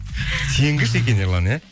сенгіш екен ерлан иә